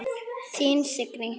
Þín Signý.